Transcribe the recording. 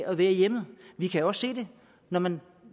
at være i hjemmet vi kan jo også se det når man